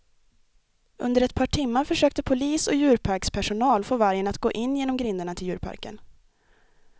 Under ett par timmar försökte polis och djurparkspersonal få vargen att gå in genom grindarna till djurparken.